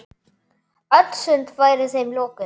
Öll sund væru þeim lokuð.